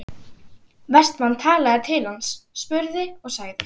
Vestmann talaði til hans, spurði og sagði